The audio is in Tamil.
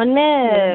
ஒன்னு